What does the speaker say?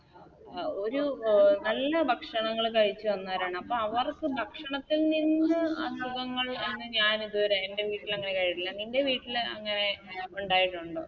ആ ഒരു അഹ് നല്ല ഭക്ഷണങ്ങൾ കഴിച്ച് വന്നവരാണ് അപ്പൊ അവർക്ക് ഭക്ഷണത്തിൽ നിന്ന് അസുഖങ്ങൾ എന്ന് ഞാനിത് വരെ എൻറെ വീട്ടിലെങ്ങനെ കെഴി ഇല്ല നിൻറെ വീട്ടിലെങ്ങനെ ഉണ്ടായിട്ടുണ്ടോ